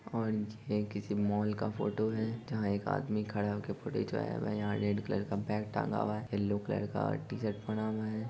Orange है किसी mall का फोटो है जहाँ एक आदमी खड़ा होके फोटो खींच रहा है यहाँ रेड कलर का बैग टांगा हुआ है येल्लो का टी-शर्ट पहना हुआ है।